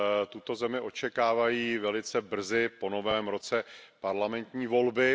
Tuto zemi očekávají velice brzy po Novém roce parlamentní volby.